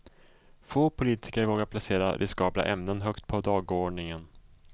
Få politiker vågar placera riskabla ämnen högt på dagordningen.